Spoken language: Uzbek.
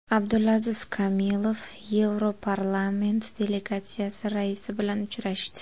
Abdulaziz Kamilov Yevroparlament delegatsiyasi raisi bilan uchrashdi.